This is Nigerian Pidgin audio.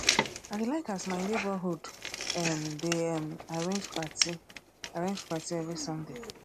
i dey like as my neborhood um dey um arrange party arrange party every sunday